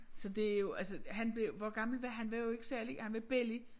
Så det jo altså han blev hvor gammel var han var jo ikke særlig han var belli